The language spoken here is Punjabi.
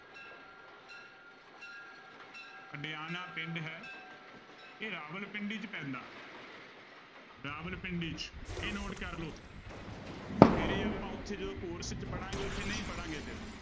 ਅਡਿਆਣਾ ਪਿੰਡ ਹੈ ਇਹ ਰਾਵਲਪਿੰਡੀ ਚ ਪੈਂਦਾ ਰਾਵਲਪਿੰਡੀ ਚ ਇਹ note ਕਰ ਲਓ ਫਿਰ ਇਹ ਆਪਾਂ ਉੱਥੇ ਜਦੋਂ course ਚ ਪੜ੍ਹਾਂਗੇ ਉੱਥੇ ਨਹੀਂ ਪੜ੍ਹਾਂਗੇ ਫਿਰ।